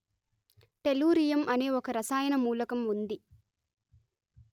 tellurium అనే ఒక రసాయన మూలకం ఉంది